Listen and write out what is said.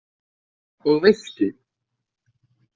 Og veistu.